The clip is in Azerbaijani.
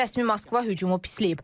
Rəsmi Moskva hücumu pisləyib.